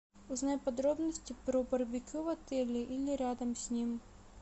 узнай подробности про барбекю в отеле или рядом с ним